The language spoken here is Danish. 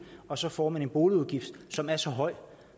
og så får en boligudgift som er så høj